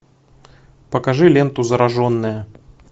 покажи ленту зараженная